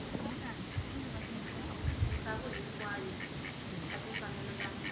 misava hinkwayo ka timfanelo ta